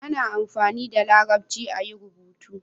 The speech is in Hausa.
ana amfani da larabci a yi rubutu